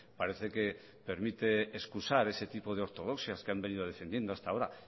parece que permite excusar ese tipo de ortodoxias que han venido defendiendo hasta ahora